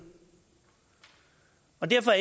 og derfor